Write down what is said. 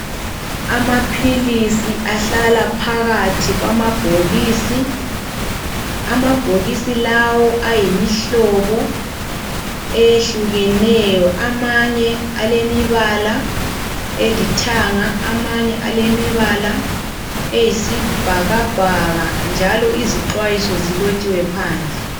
Amaphilisi ahlala phakathi kwamabhokisi. Amabhokisi lawo ayimihlobo eyehlukeneyo. Amanye alemibala elithanga amanye alemibala eyisibhakabhaka njalo izixwayiso zilotshiwe phandle.